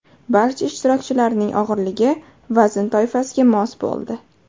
Barcha ishtirokchilarning og‘irligi vazn toifasiga mos bo‘ldi.